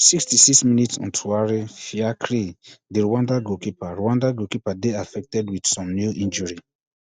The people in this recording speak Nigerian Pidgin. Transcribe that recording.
sixty-six minute ntuwari fiacre di rwanda goalkeeper rwanda goalkeeper dey affected wit some kneel injury